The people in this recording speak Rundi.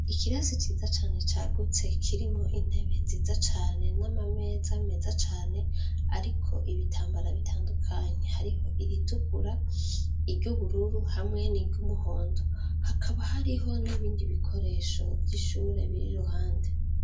Ikirasi ciza cane cagutse kirimo intebe nziza cane n'ama meza meza cane, ariko ibitambara bitandukanyi hariho iritukura iryoubururu hamwe n'iryo umuhondo hakaba hariho n'ibindi bikoresho vy'ishure biri ruhande.